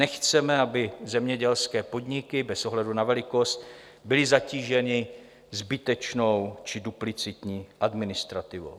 Nechceme, aby zemědělské podniky bez ohledu na velikost byly zatíženy zbytečnou či duplicitní administrativou.